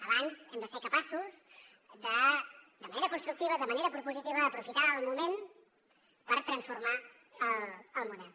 abans hem de ser capaços de manera constructiva de manera propositiva d’aprofitar el moment per transformar el model